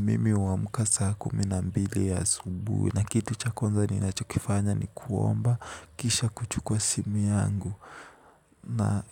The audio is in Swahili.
Mimi huamka saa kumi na mbili asubuhi na kitu cha kwanza ninachokifanya ni kuomba, kisha kuchukua simu yangu. Na